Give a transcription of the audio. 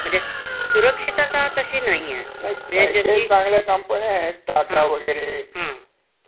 नोकर कपातही करत नाहीत. हं. पण तरी सुद्धा काही म्हणजे मार्केटच काही सांगतायेत नाही.